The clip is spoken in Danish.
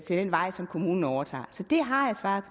den vej som kommunen overtager så det har jeg svaret